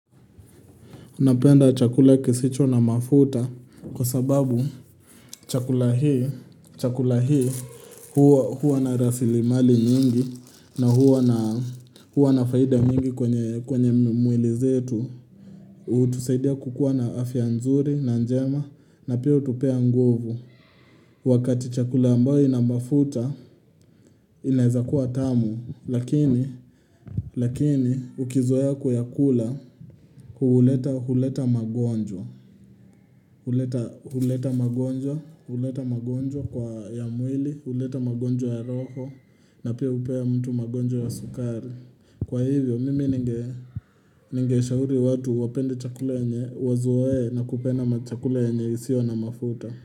Napenda chakula kisicho na mafuta kwa sababu chakula hi chakula hii huw huwa na rasili mali nyingi na huwa na huwa na faida mingi kwenye kwenye mwili zetu. Hutusaidia kukua na afya nzuri na njema na pia hutupea nguvu. Wakati chakula ambayo ina mafuta inaeza kuwa tamu lakini lakini ukizoea kuyakula huuleta huleta magonjwa huleta huleta magonjwa. Huleta magonjwa kwa ya mwili, huleta magonjwa ya roho na pia hupea mtu magonjwa ya sukari. Kwa hivyo mimi ninge ninge shauri watu wapende chakule ya nye wazoee na kupenda machakula yenye isio na mafuta.